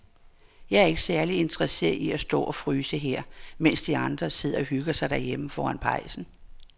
Jeg er ikke særlig interesseret i at stå og fryse her, mens de andre sidder og hygger sig derhjemme foran pejsen.